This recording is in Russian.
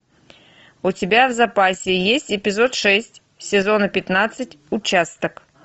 у тебя в запасе есть эпизод шесть сезона пятнадцать участок